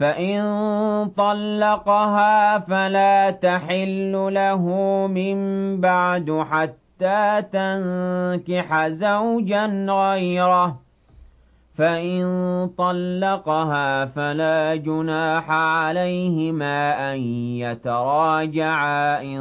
فَإِن طَلَّقَهَا فَلَا تَحِلُّ لَهُ مِن بَعْدُ حَتَّىٰ تَنكِحَ زَوْجًا غَيْرَهُ ۗ فَإِن طَلَّقَهَا فَلَا جُنَاحَ عَلَيْهِمَا أَن يَتَرَاجَعَا إِن